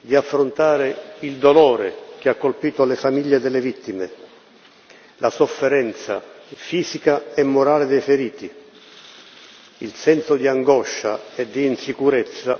di affrontare il dolore che ha colpito le famiglie delle vittime, la sofferenza fisica e morale dei feriti, il senso di angoscia e di insicurezza